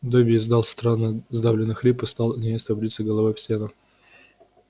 добби издал странный сдавленный хрип и стал неистово биться головой об стену